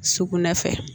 Sukunɛ fɛ